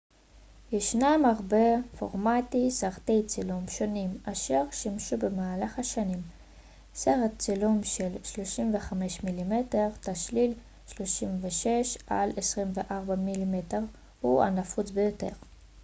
"ישנם הרבה פורמטי סרטי צילום שונים אשר שימשו במהלך השנים. סרט צילום של 35 מ""מ תשליל 36 על 24 מ""מ הוא הנפוץ ביותר.